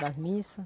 Das missa.